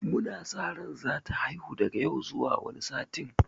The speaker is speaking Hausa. Mu na sa ran za ta haihu daga yau zuwa wani satin.